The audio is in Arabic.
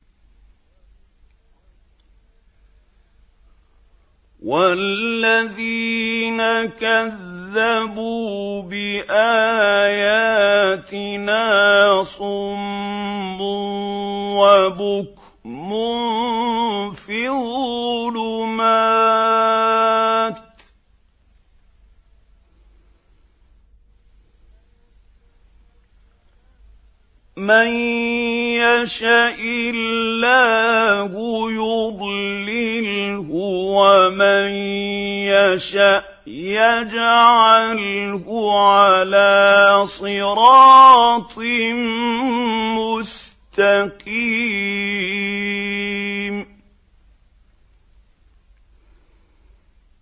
وَالَّذِينَ كَذَّبُوا بِآيَاتِنَا صُمٌّ وَبُكْمٌ فِي الظُّلُمَاتِ ۗ مَن يَشَإِ اللَّهُ يُضْلِلْهُ وَمَن يَشَأْ يَجْعَلْهُ عَلَىٰ صِرَاطٍ مُّسْتَقِيمٍ